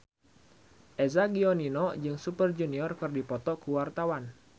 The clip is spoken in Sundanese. Eza Gionino jeung Super Junior keur dipoto ku wartawan